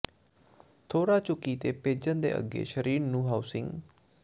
ਥੋੜ੍ਹਾ ਝੁਕੀ ਤੇ ਭੇਜਣ ਦੇ ਅੱਗੇ ਸਰੀਰ ਨੂੰ ਹਾਊਸਿੰਗ